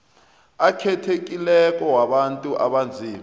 akhethekileko wabantu abanzima